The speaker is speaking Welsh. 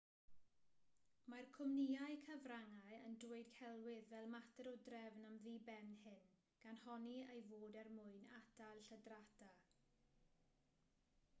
mae'r cwmnïau cyfryngau yn dweud celwydd fel mater o drefn am ddiben hyn gan honni ei fod er mwyn atal lladrata